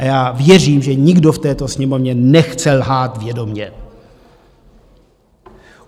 A já věřím, že nikdo v této Sněmovně nechce lhát vědomě.